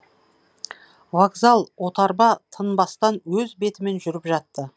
вокзал отарба тынбастан өз бетімен жүріп жатты